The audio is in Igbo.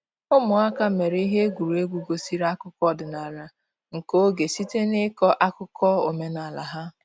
Ụmụaka mere ihe egwuregwu gosiri akụkọ ọdịnala nke oge site n’ịkọ akụkọ omenala ha.